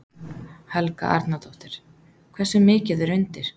Helga Arnardóttir: Hversu mikið er undir?